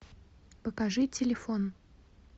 покажи телефон